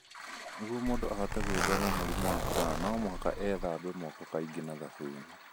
Nĩguo mũndũ ahote gwĩthema mũrimũ wa corona, no mũhaka athambage moko kaingĩ na thabuni.